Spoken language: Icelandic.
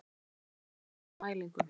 Einnig er beðið eftir nýjum mælingum